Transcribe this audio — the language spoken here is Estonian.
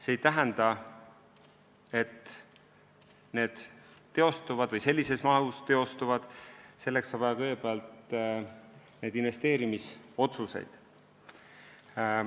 See ei tähenda, et need üldse teostuvad või sellises mahus teostuvad – kõigepealt on vaja investeerimisotsuseid.